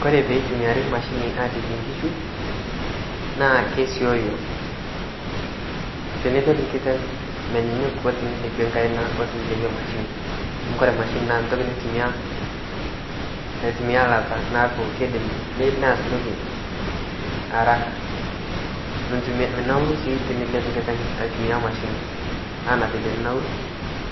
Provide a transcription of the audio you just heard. Kore peitumiari imashini aalepie nkishu naa kesiooyo. Tenilep nkiteng, menyenyuk o tenilepie nkaina o tenilepie imashini amu kore imashini naa ntoki naitumkiya ilata naaku keidim neas ntoki araka. Minauru sii tinilep nkiteng aitumiya imashini anaa vile ninauru